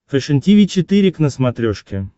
фэшен тиви четыре к на смотрешке